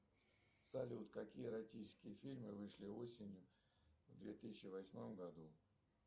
салют какие эротические фильмы вышли осенью в две тысячи восьмом году